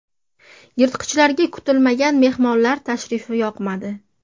Yirtqichlarga kutilmagan mehmonlar tashrifi yoqmadi.